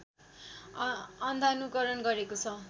अन्धानुकरण गरेको छ